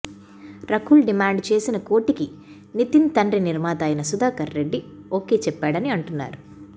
Rakul demand చేసిన కోటికి నితిన్ తండ్రి నిర్మాత అయిన సుధాకర్ రెడ్డి ఓకే చెప్పాడని అంటున్నారు